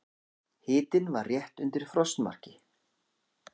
Hitinn var rétt undir frostmarki.